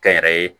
Kɛ n yɛrɛ ye